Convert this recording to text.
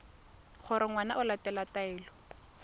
gore ngwana o latela taelo